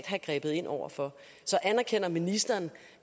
have grebet ind over for så anerkender ministeren